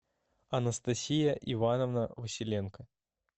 анастасия ивановна василенко